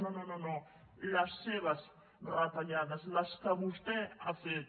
no no les seves retallades les que vostè ha fet